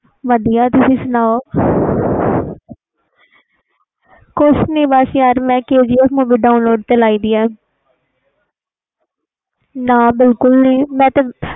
ਹੋਰ ਕਿ ਕਮ ਕਰ ਕਰਦੇ ਤੂੰ ਅਜੇ ਦੇਖੀ ਨਹੀਂ movie